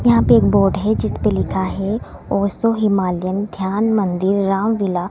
यहां पे एक बोर्ड है जिस पे लिखा है ओशो हिमालयन ध्यान मंदिर रामलीला--